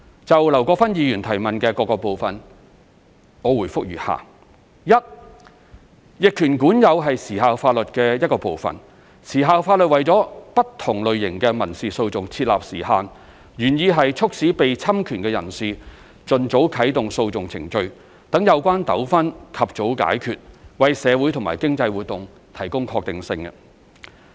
就劉國勳議員質詢的各個部分，我答覆如下：一逆權管有是時效法律的一部分，時效法律為不同類型的民事訴訟設立時限，原意是促使被侵權的人士盡早啟動訴訟程序，讓有關糾紛及早解決，為社會和經濟活動提供確定性。